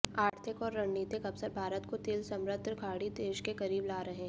आर्थिक और रणनीतिक अवसर भारत को तेल समृद्ध खाड़ी देश के करीब ला रहे हैं